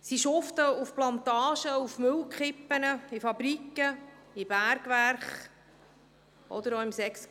Sie schuften auf Plantagen, auf Müllkippen, in Fabriken, in Bergwerken oder auch im Sexgewerbe.